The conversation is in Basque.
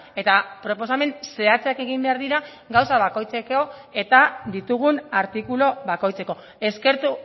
eta proposamen zehatzak egin behar dira gauza bakoitzeko eta ditugun artikulu bakoitzeko eskertu